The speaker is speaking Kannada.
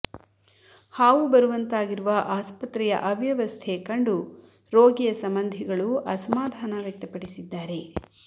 ಹಾವು ಬರುವಂತಾಗಿರುವ ಆಸ್ಪತ್ರೆಯ ಅವ್ಯವಸ್ಥೆ ಕಂಡು ರೋಗಿಯ ಸಂಬಂಧಿಗಳು ಅಸಮಾಧಾನ ವ್ಯಕ್ತಪಡಿಸಿದ್ದಾರೆ